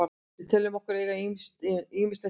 Við teljum okkur eiga ýmislegt inni.